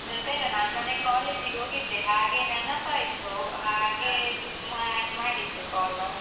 ಮತ್ತೆ ಎಂತಿಲ್ಲ, ನಾನ್ ಮೊನ್ನೆ college ಗೆ ಹೋಗಿದ್ದೆ, ಹಾಗೆ ನೆನಪಾಯ್ತು ಹಾಗೆ ಮಾ~ ಮಾಡಿದ್ದು call.